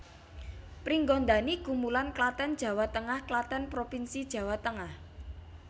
Pringgondani Gumulan Klaten Tengah Klaten provinsi Jawa Tengah